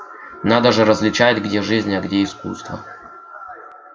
надо же различать где жизнь а где искусство